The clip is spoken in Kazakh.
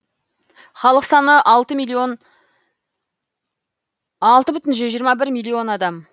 халық саны алты бүтін миллион жүз жиырма бір миллион адам